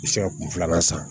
I bɛ se ka kun filanan san